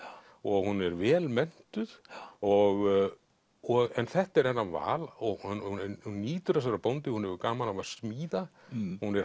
og hún er vel menntuð og og þetta er hennar val og hún nýtur þess að vera bóndi hún hefur gaman af að smíða hún er